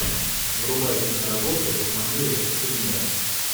врубай киноработу в манере скримера